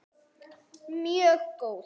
Mjög góð.